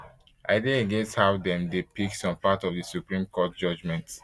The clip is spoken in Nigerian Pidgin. i dey against how dem dey pick some parts of di supreme court judgement